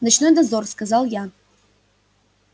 ночной дозор сказал я